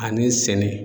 Ani sɛnɛ